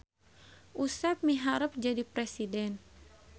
Usep miharep jadi presiden